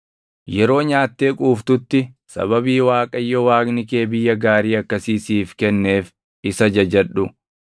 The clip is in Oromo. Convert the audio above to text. Yeroo nyaattee quuftutti, sababii Waaqayyo Waaqni kee biyya gaarii akkasii siif kenneef isa jajadhu.